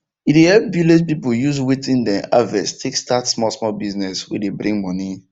e dey help village people use wetin dem harvest take start smallsmall business wey dey bring money